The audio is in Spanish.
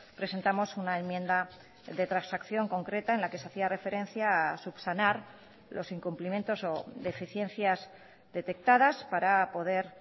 presentamos una enmienda de transacción concreta en la que se hacía referencia subsanar los incumplimientos o deficiencias detectadas para poder